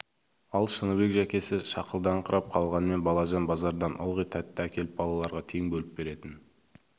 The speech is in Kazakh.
ал шыныбек жәкесі шақылдаңқырап қалғанмен балажан базардан ылғи тәтті әкеліп балаларға тең бөліп беретін